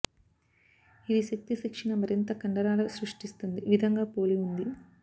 ఇది శక్తి శిక్షణ మరింత కండరాల సృష్టిస్తుంది విధంగా పోలి ఉంది